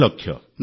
୯୦ ଲକ୍ଷ